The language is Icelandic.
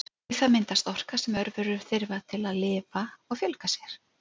Við það myndast orka sem örverur þurfa til að lifa og fjölga sér.